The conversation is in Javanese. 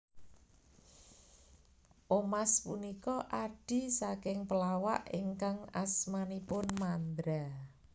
Omas punika adhi saking pelawak ingkang asmanipun Mandra